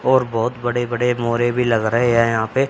और बहोत बड़े बड़े मोरे भी लग रहे हैं यहां पे।